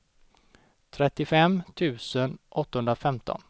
trettiofem tusen åttahundrafemton